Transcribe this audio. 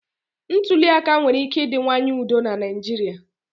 Ntuli aka nwere ike ịdịwanye udo na Naịjirịa.